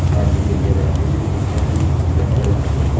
ডানদিকে বিরাট আকৃতির হনুমানজির মূর্তি দেখা যাচ্ছে।